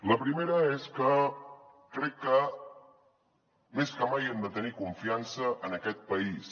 la primera és que crec que més que mai hem de tenir confiança en aquest país